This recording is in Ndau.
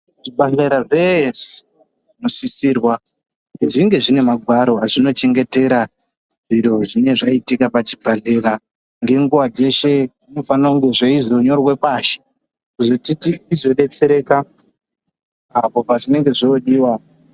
Zvibhahlera zvese zvinosisirwa kuti zvinge zvine magwaro azvinochengetera zviro zvine ngezvaitika pazvibhahlera ngenguwa dzese zvinofanire kunyorwa pasi kuti zvizodetsereka apo pazvinenge zvodiwa.